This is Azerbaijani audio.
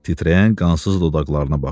Titrəyən qansız dodaqlarına baxdı.